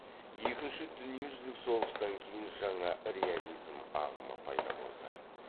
екінші дүниежүзілік соғыстан кейін жаңа реализм ағымы пайда болды